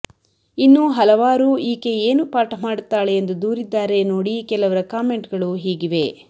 ಇನ್ನು ಹಲವಾರು ಈಕೆ ಏನು ಪಾಠ ಮಾಡುತ್ತಾಳೆ ಎಂದು ದೂರಿದ್ದಾರೆ ನೋಡಿ ಕೆಲವರ ಕಾಮೆಂಟ್ ಗಳು ಹೀಗಿವೆ